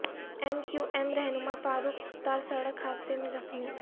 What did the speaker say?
M Q M رہنما فاروق ستار سڑک حادثے میں زخمی